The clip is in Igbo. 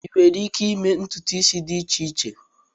Ịnwere ike ịme ntụtụ isi dị iche iche?